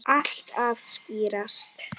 Allt að skýrast